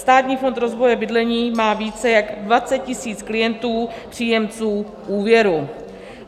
Státní fond rozvoje bydlení má více jak 20 tisíc klientů, příjemců úvěru.